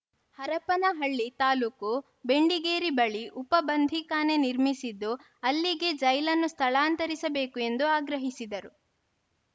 ಹರಪನಹಳ್ಳಿ ತಾಲೂಕು ಬೆಂಡಿಗೇರಿ ಬಳಿ ಉಪ ಬಂಧೀಖಾನೆ ನಿರ್ಮಿಸಿದ್ದು ಅಲ್ಲಿಗೆ ಜೈಲನ್ನು ಸ್ಥಳಾಂತರಿಸಬೇಕು ಎಂದು ಆಗ್ರಹಿಸಿದರು